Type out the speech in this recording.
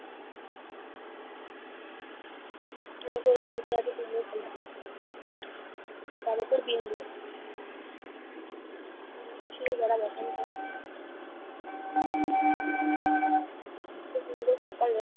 এমন করে ছুঁতে আছে কুমড়োর থালা? তার উপর বিন্দু এত সুন্দর সকালে